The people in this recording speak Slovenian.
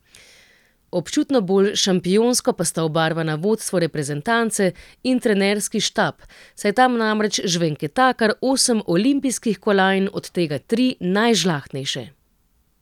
Občutno bolj šampionsko pa sta obarvana vodstvo reprezentance in trenerski štab, saj tam namreč žvenketa kar osem olimpijskih kolajn, od tega tri najžlahtnejše.